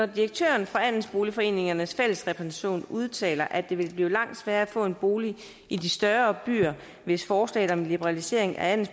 direktøren for andelsboligforeningernes fællesrepræsentation udtaler at det vil blive langt sværere at få en bolig i de større byer hvis forslaget om liberalisering af